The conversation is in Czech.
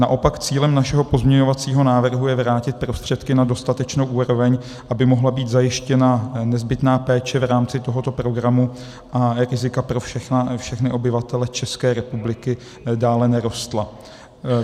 Naopak cílem našeho pozměňovacího návrhu je vrátit prostředky na dostatečnou úroveň, aby mohla být zajištěna nezbytná péče v rámci tohoto programu a rizika pro všechny obyvatele České republiky dále nerostla.